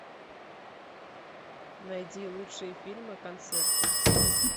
найди лучшие фильмы концерты